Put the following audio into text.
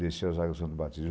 Desceu as águas do Santo Batismo.